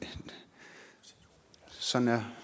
sådan er